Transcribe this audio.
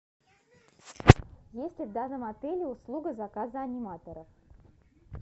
есть ли в данном отеле услуга заказа аниматоров